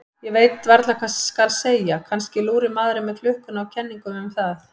Ég veit varla hvað skal segja, kannski lúrir maðurinn með klukkuna á kenningum um það.